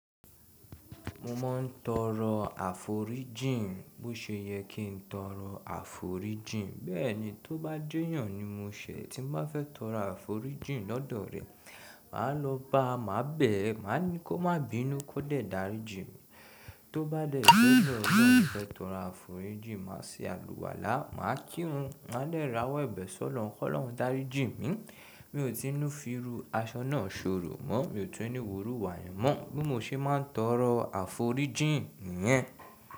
Mo máa ń tọrọ àforí jìn. Bó ṣe yẹ kí ń tọrọ àforí jìn, bẹ́ẹ̀ni, tó bá jẹ́ eyàn ni mo ṣẹ. Ti mó fẹ́ tọrọ àforí jìn lọ́dọ̀ rẹ̀, màá lọ bá à màá bẹ̀ ẹ́, màá ní kí ó má bínú, kó dẹ̀ dáríjìn mi. Tó bá dẹ̀ kí ó bẹ́, lọ́làn fẹ́ tọrọ àforí jìn, màá ṣe alùwàlá, màá kí wọn, màá dẹ̀ ráwọ́ ẹ̀bẹ̀ Ṣ'ọ́lọ́run n, kó lọ́hùn dáríjìn mi. Mi ò tí ń fíru aṣọ náà ṣorò mọ́, mi ò tún ni Hu irù wà yẹn mọ́. Boí mo ṣe máa ń tọrọ àforí jìn yẹn.